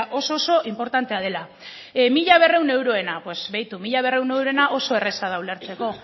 oso inportantea dela mila berrehun euroena begiratu mila berrehun euroena oso erraza da ulertzeko